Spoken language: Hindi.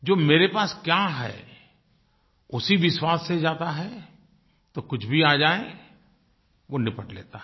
जो मेरे पास क्या है उसी विश्वास से जाता है तो कुछ भी आ जाये वो निपट लेता है